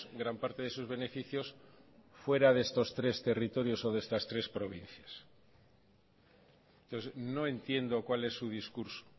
gran parte de sus beneficios fuera de estos tres territorios o de estas tres provincias entonces no entiendo cuál es su discurso